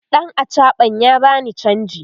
ɗan achaɓan ya bani chanji